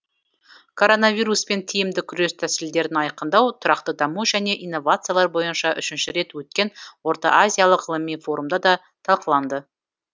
коронавируспен тиімді күрес тәсілдерін айқындау тұрақты даму және инновациялар бойынша үшінші рет өткен орта азиялық ғылыми форумда да талқыланды